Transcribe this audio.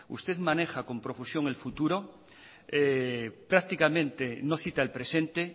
usted maneja con profusión el futuro prácticamente no cita el presente